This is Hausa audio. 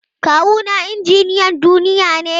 Kawuna injiniyan duniya ne.